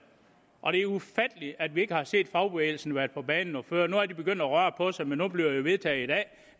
og det er ufatteligt at vi ikke har set fagbevægelsen været på banen noget før nu er de begyndt at røre på sig men nu bliver det jo vedtaget i dag